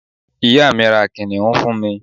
ìyá mi, ra kìnìún fún mi